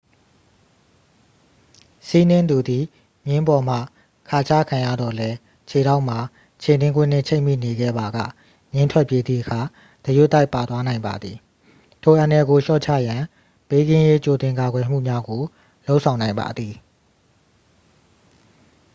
စီးနင်းသူသည် မြင်းပေါ်မှခါချခံရသော်လည်း ခြေထောက်မှာ ခြေနင်းကွင်းနှင့် ချိတ်မိနေခဲ့ပါက မြင်းထွက်ပြေးသည့်အခါ တရွတ်တိုက်ပါသွားနိုင်ပါသည် ထိုအန္တရာယ်ကိုလျှော့ချရန် ဘေးကင်းရေးကြိုတင်ကာကွယ်မှုများကို လုပ်ဆောင်နိုင်ပါသည်